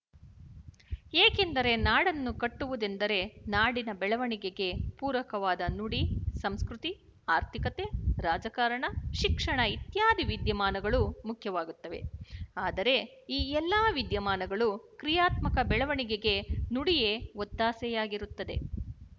ಏಕೆಂದರೆ ನಾಡನ್ನು ಕಟ್ಟುವುದೆಂದರೆ ನಾಡಿನ ಬೆಳವಣಿಗೆಗೆ ಪೂರಕವಾದ ನುಡಿ ಸಂಸ್ಕೃತಿ ಆರ್ಥಿಕತೆ ರಾಜಕಾರಣ ಶಿಕ್ಷಣ ಇತ್ಯಾದಿ ವಿದ್ಯಮಾನಗಳು ಮುಖ್ಯವಾಗುತ್ತವೆ ಆದರೆ ಈ ಎಲ್ಲ ವಿದ್ಯಮಾನಗಳು ಕ್ರಿಯಾತ್ಮಕ ಬೆಳವಣಿಗೆಗೆ ನುಡಿಯೇ ಒತ್ತಾಸೆಯಾಗಿರುತ್ತದೆ